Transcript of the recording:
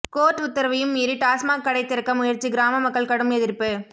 court உத்தரவையும் மீறி டாஸ்மாக் கடை திறக்க முயற்சி கிராம மக்கள் கடும் எதிர்ப்பு